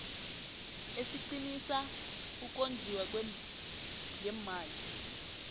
esiqinisa ukondliwa ngeemali